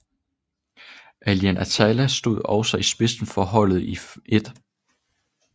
Alain Attallah stod også i spidsen for holdet i 1